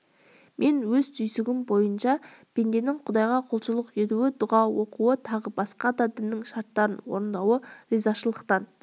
мен өз түйсігім бойынша пенденің құдайға құлшылық етуі дұға оқуы тағы басқа да діннің шарттарын орындауы ризашылықтан